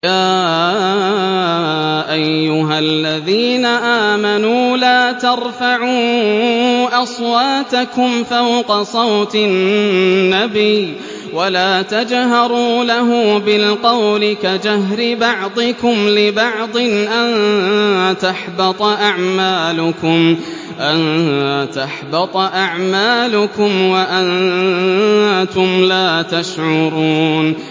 يَا أَيُّهَا الَّذِينَ آمَنُوا لَا تَرْفَعُوا أَصْوَاتَكُمْ فَوْقَ صَوْتِ النَّبِيِّ وَلَا تَجْهَرُوا لَهُ بِالْقَوْلِ كَجَهْرِ بَعْضِكُمْ لِبَعْضٍ أَن تَحْبَطَ أَعْمَالُكُمْ وَأَنتُمْ لَا تَشْعُرُونَ